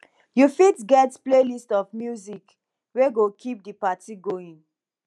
you fitget playlist of music wey go keep di party going